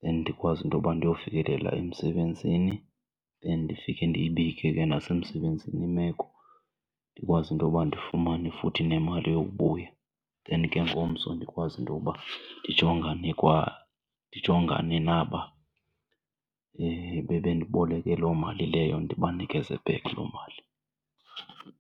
then ndikwazi intoba ndiyofikelela emsebenzini then ndifike ndiyibike ke nasemsebenzini imeko ndikwazi intoba ndifumane futhi nemali yokubuya. Then ke ngomso ndikwazi intoba ndijongane ndijongane naba bebendiboleke loo mali leyo, ndibanikeze back loo mali.